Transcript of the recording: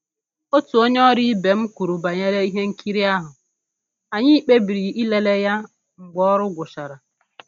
Otu onye ọrụ ibe m kwuru banyere ihe nkiri ahụ, anyị kpebiri ịlele ya mgbe ọrụ gwụchara